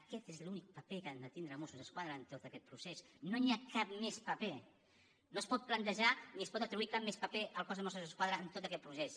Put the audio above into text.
aquest és l’únic paper que han de tindre els mossos d’esquadra en tot aquest procés no hi ha cap més paper no es pot plantejar ni es pot atribuir cap més paper al cos de mossos d’esquadra en tot aquest procés